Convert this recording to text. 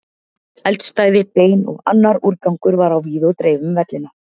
Eldstæði, bein og annar úrgangur var á víð og dreif um vellina.